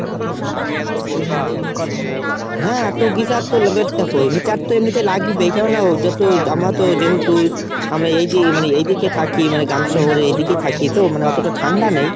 হ্যাঁ তো geyser তো heater তো এমনিতে লাগবেই। কেননা যত আমরাতো যেহেতু আমরা এই যে মানে এইদিকে থাকি মানে গাম শহরে মানে এদিকে থাকি তো মানে অতটা ঠান্ডা নেই।